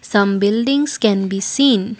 some buildings can be seen.